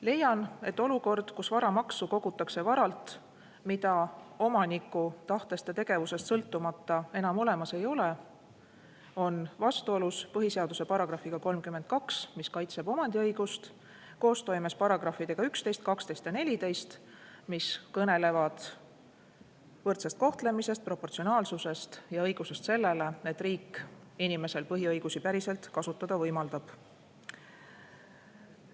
Leian, et olukord, kus varamaksu kogutakse varalt, mida omaniku tahtest ja tegevusest sõltumata enam olemas ei ole, on vastuolus põhiseaduse §-ga 32, mis kaitseb omandiõigust koostoimes §-dega 11, 12 ja 14, mis kõnelevad võrdsest kohtlemisest, proportsionaalsusest ja õigusest sellele, et riik inimesel põhiõigusi päriselt kasutada võimaldab.